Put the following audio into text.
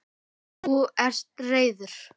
Þú ert reiður.